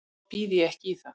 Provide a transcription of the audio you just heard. Þá býð ég ekki í það.